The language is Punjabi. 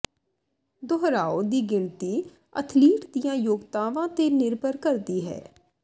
ਦੁਹਰਾਓ ਦੀ ਗਿਣਤੀ ਅਥਲੀਟ ਦੀਆਂ ਯੋਗਤਾਵਾਂ ਤੇ ਨਿਰਭਰ ਕਰਦੀ ਹੈ